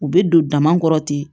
U bɛ don dama kɔrɔ ten